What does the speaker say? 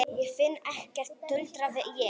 Ég finn ekkert, tuldraði ég.